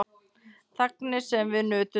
Þagnir sem við nutum saman.